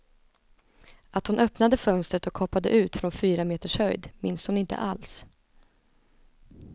Att hon öppnade fönstret och hoppade ut från fyra meters höjd, minns hon inte alls.